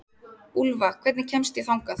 Úlfa, hvernig kemst ég þangað?